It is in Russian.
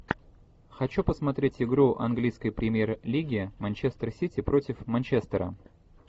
хочу посмотреть игру английской премьер лиги манчестер сити против манчестера